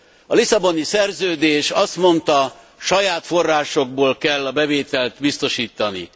A Lisszaboni Szerződés azt mondta, saját forrásokból kell a bevételt biztosítani.